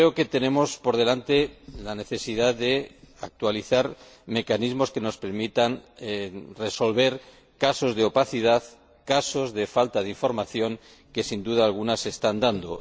Tenemos por delante la necesidad de actualizar mecanismos que nos permitan resolver casos de opacidad, de falta de información, que sin duda alguna se están dando.